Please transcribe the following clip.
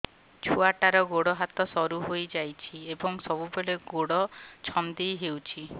ଛୁଆଟାର ଗୋଡ଼ ହାତ ସରୁ ହୋଇଯାଇଛି ଏବଂ ସବୁବେଳେ ଗୋଡ଼ ଛଂଦେଇ ହେଉଛି